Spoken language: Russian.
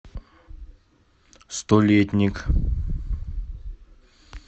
столетник